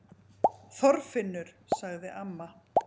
ÞORFINNUR! sagði amma.